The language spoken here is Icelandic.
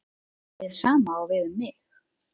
Hið sama á við um mig.